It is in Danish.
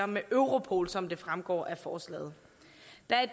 med europol som det fremgår af forslaget